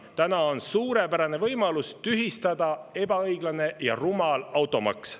Täna on suurepärane võimalus tühistada ebaõiglane ja rumal automaks.